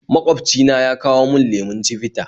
Magwabci na ya kawo mun lemon chivita